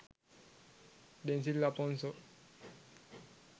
denzil aponso